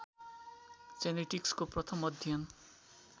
जेनेटिक्सको प्रथम अध्ययन